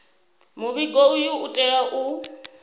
muvhigo uyu u tea u